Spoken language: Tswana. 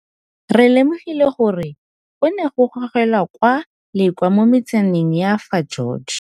Re lemogile gore go ne go gogelwa kwa le kwa mo metsaneng ya fa George.